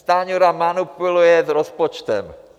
Stanjura manipuluje s rozpočtem.